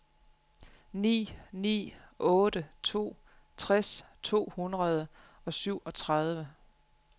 ni ni otte to tres to hundrede og syvogtredive